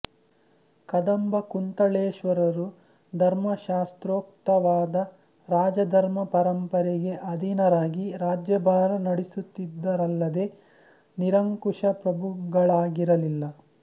ಕದಂಬ ಕುಂತಳೇಶ್ವರರು ಧರ್ಮಶಾಸ್ತ್ರೋಕ್ತವಾದ ರಾಜಧರ್ಮ ಪರಂಪರೆಗೆ ಅಧೀನರಾಗಿ ರಾಜ್ಯಭಾರ ನಡೆಸುತ್ತಿದ್ದರಲ್ಲದೆ ನಿರಂಕುಶಪ್ರಭುಗಳಾಗಿರಲಿಲ್ಲ